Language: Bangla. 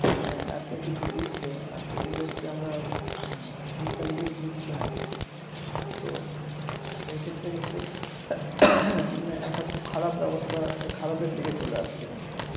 আহ এত কিছু দিচ্ছে আর পরিবেশকে আমরা return gift দিচ্ছি না তো সে ক্ষেত্রে কিন্তু একটা খুব খারাপ ব্যবস্থা খারাপের দিকে চলে এসছে কিন্তু।